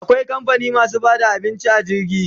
Akwai kamfani masu bada abinci a jirgi